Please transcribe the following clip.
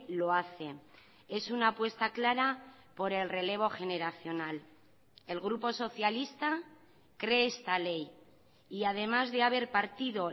lo hace es una apuesta clara por el relevo generacional el grupo socialista cree esta ley y además de haber partido